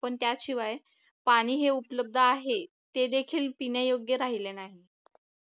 पण त्याशिवाय पाणी हे उपलब्ध आहे ते देखील पिण्यायोग्य राहिले नाही